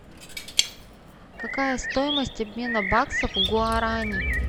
какая стоимость обмена баксов в гуарани